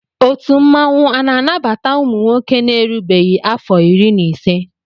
Ọtu mmanwụ ana anabata ụmụnwoke na erubeghi afo iri na ise.